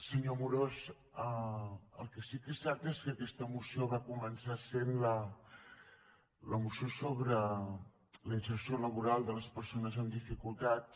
senyor amorós el que sí que és cert és que aquesta moció va començar sent la moció sobre la inserció laboral de les persones amb dificultats